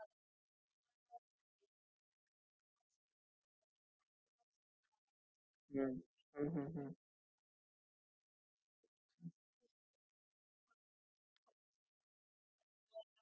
lower door साठी म्हणजे Vegetable Store करण्यासाठी साठी time table set करावे लागायचे timeline किती cooling पाहिजे किंवा काय पण इथे असं नाही आहे इथे automatic coolar आहे खाली सुद्धा आणि front door पण